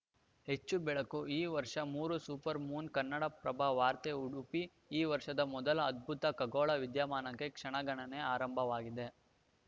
ಹೆಚ್ಚು ಬೆಳಕು ಈ ವರ್ಷ ಮೂರು ಸೂಪರ್‌ ಮೂನ್‌ ಕನ್ನಡಪ್ರಭ ವಾರ್ತೆ ಉಡುಪಿ ಈ ವರ್ಷದ ಮೊದಲ ಅದ್ಭುತ ಖಗೋಳ ವಿದ್ಯಮಾನಕ್ಕೆ ಕ್ಷಣಗಣನೆ ಆರಂಭವಾಗಿದೆ